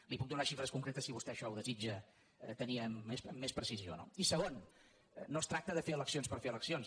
li puc donar xifres concretes si vostè ai·xò ho desitja tenir amb més precisió no i segon no es tracta de fer eleccions per fer eleccions